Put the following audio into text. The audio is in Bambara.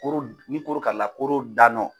Koro ni koro karila koro da nɔ